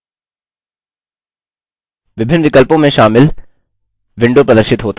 विभिन्न विकल्पों में शामिल विंडो प्रदर्शित होता है